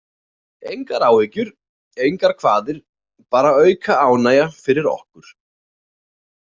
Engar áhyggjur, engar kvaðir, bara auka ánægja fyrir okkur.